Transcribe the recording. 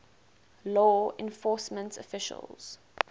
law enforcement officials